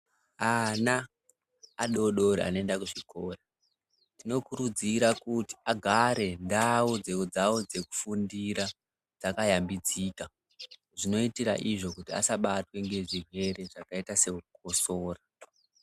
Ana adoodori anoenda kuzvikora tinokurudzira kuti agare ndau dzawo dzekufundira dzakayambidzika zvinoitira izvo kuti asabatwe ngezvirwere zvakaita seukosoro.